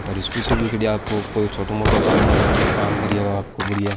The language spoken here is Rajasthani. और स्कूटी भी है बड़िया आपको कोई छोटो मोटों काम होब मनो काम करिए वा आपको बड़िया।